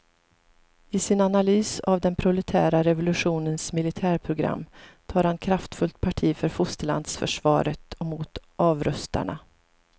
I sin analys av den proletära revolutionens militärprogram tar han kraftfullt parti för fosterlandsförsvaret och mot avrustarna.